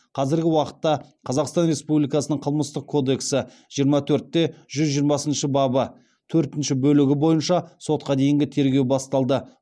қазіргі уақытта қазақстан республикасының қылмыстық кодексі жиырма төрт те жүз жиырмасыншы бабы төртінші бөлігі бойынша сотқа дейінгі тергеу басталды